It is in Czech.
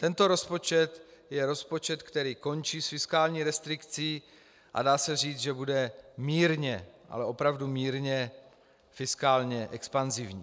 Tento rozpočet je rozpočet, který končí s fiskální restrikcí, a dá se říct, že bude mírně, ale opravdu mírně fiskálně expanzivní.